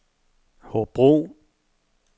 Hobro